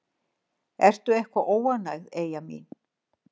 Ertu eitthvað óánægð, Eyja mín?